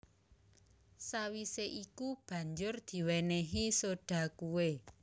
Sawisé iku banjur diwénéhi soda kué